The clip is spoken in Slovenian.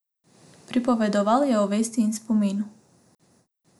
Pripovedoval je o vesti in spominu.